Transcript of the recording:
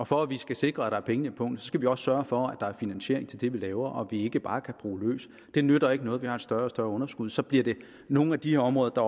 for at vi kan sikre at der er penge i pungen skal vi også sørge for at der er finansiering til det vi laver og ikke bare bruge løs det nytter ikke noget at vi har større og større underskud for så bliver det nogle af de her områder